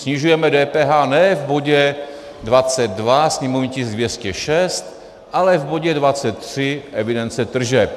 Snižujeme DPH ne v bodě 22, sněmovní tisk 206, ale v bodě 23, evidence tržeb.